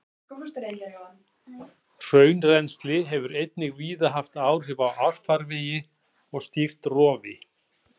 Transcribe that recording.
Hraunrennsli hefur einnig víða haft áhrif á árfarvegi og stýrt rofi.